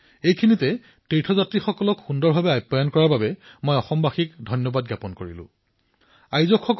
ইয়াতে অসমৰ জনসাধাৰণৰ উদ্দীপনা তেওঁলোকৰ আতিথ্যৰ প্ৰশংসা কৰিবলৈ বিচাৰিছো যিয়ে সমগ্ৰ দেশৰ পৰা অহা তীৰ্থযাত্ৰীসকলৰ অতি সুন্দৰ ধৰণে সেৱাসৎকাৰ কৰিলে